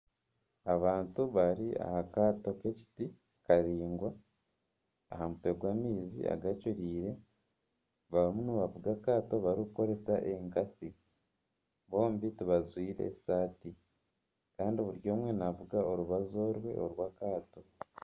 Abantu bari aha kaato kekiti karaingwa aha mutwe gw'amaizi agacureire barimu nibavuga akaato barikukoresa enkasi bombi tibajwaire esaati Kandi buri omwe navuga orubaju orwe orwakaato